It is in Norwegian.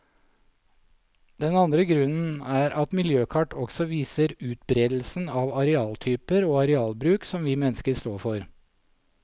Den andre grunnen er at miljøkart også viser utberedelsen av arealtyper og arealbruk som vi mennesker står for.